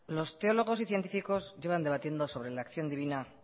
los teólogos y científicos llevan debatiendo sobre la acción divina